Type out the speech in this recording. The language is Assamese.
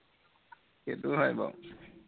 সেইটো হয় বাৰু